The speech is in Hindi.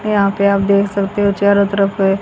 यहां पे आप देख सकते हो चारों तरफ है।